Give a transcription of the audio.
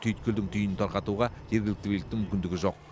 түйткілдің түйінін тарқатуға жергілікті биліктің мүмкіндігі жоқ